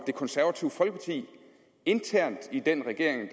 det konservative folkeparti internt i den regering